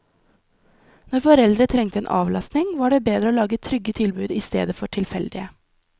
Når foreldre trengte avlastning, var det bedre å lage trygge tilbud i stedet for tilfeldige.